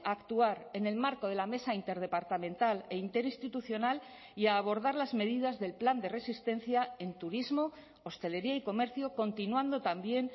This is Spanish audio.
a actuar en el marco de la mesa interdepartamental e interinstitucional y abordar las medidas del plan de resistencia en turismo hostelería y comercio continuando también